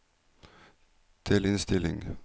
delinnstilling